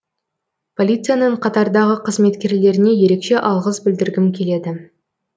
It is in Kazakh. полицияның қатардағы қызметкерлеріне ерекше алғыс білдіргім келеді